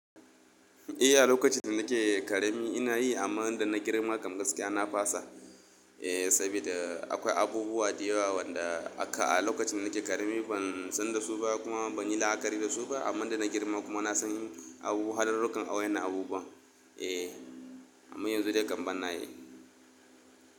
Eh, a lokacin da nake karemi ina yi amma inda na girma kam gaskiya na fasa. Eh, saboda akwai abubuwa da yawa wanda aka a lokacin nake karemi ban san da su ba kuma ban yi la'akari da su ba amman da na girma kuma na san yin abubuwa har lokan awayan na abubuwa. Eh, amma yanzu dai kam ban na yi.